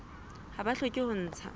ha ba hloke ho ntsha